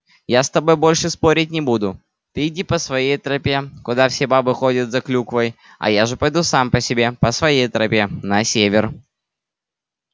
я с тобой больше спорить не буду ты иди по своей тропе куда все бабы ходят за клюквой а я же пойду сам по себе по своей тропе на север